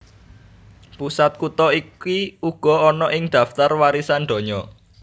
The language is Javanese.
Pusat kutha iki uga ana ing daftar warisan donya